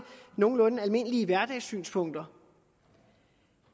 nogenlunde almindelige hverdagssynspunkter